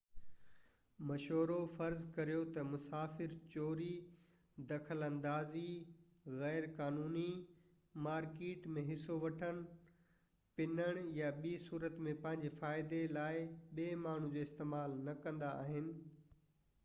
مشورو فرض ڪريو تہ مسافر چوري دخل اندازي غيرقانوني مارڪيٽ ۾ حصو وٺڻ پنڻ يا ٻي صورت ۾ پنهنجي فائدي لاءِ ٻي ماڻهو جو استعمال نہ ڪندا آهن